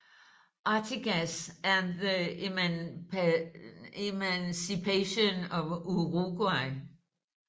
Artigas and the Emancipation of Uruguay